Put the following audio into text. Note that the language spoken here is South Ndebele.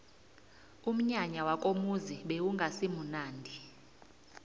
umnyanya wakomuzi bewungasimunandi